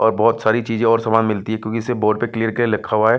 और बहुत सारी चीजें और सामान मिलती हैं क्योंकि इसे और बोर्ड पर क्लीयर क्लीयर लिखा हुआ है।